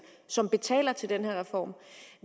som betaler til den her reform